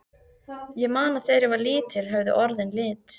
Ég man að þegar ég var lítill höfðu orðin lit.